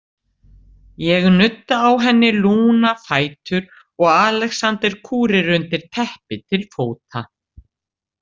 Ég nudda á henni lúna fætur og Alexander kúrir undir teppi til fóta.